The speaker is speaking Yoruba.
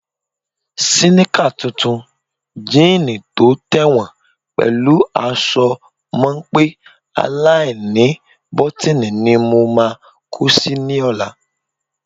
Síníkà tuntun, jíìnì tó tẹ̀wọ̀n pẹ̀lú aṣọ mọ́ńpé aláìníbọ́tíìnì ni mo máa kó si lọ́la.